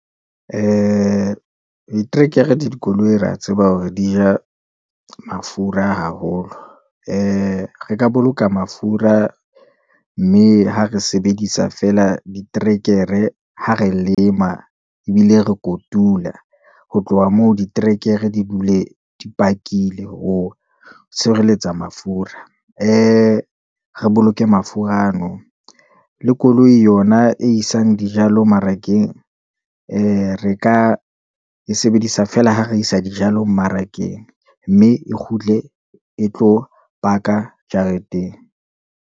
Ee, trekere dikoloi re a tseba hore di ja mafura haholo. Ee re ka boloka mafura, mme ha re sebedisa feela diterekere, ha re lema ebile re kotula. Ho tloha moo diterekere di dule di pakile ho tshireletsa mafura. ee re boloke mafura ano, le koloi yona e isang dijalo mmarakeng, ee re ka e sebedisa fela ho re isa dijalo mmarakeng. Mme e kgutle e tlo baka jareteng.